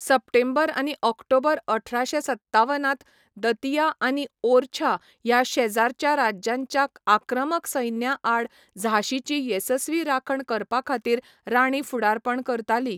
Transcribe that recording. सप्टेंबर आनी ऑक्टोबर अठराशे सत्तावनांत दतिया आनी ओरछा ह्या शेजारच्या राजांच्या आक्रमक सैन्याआड झांसीची येसस्वी राखण करपाखातीर राणी फुडारपण करताली.